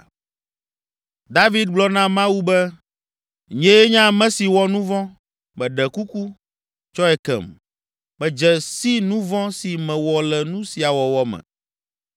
David gblɔ na Mawu be, “Nyee nye ame si wɔ nu vɔ̃, meɖe kuku, tsɔe kem, medze si nu vɔ̃ si mewɔ le nu sia wɔwɔ me.”